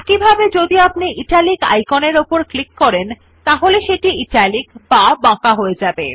একইভাবে যদি আপনি ইটালিক আইকনের উপর ক্লিক করেন তাহলে সেটি ইটালিক বা বাঁকা হয়ে যাবে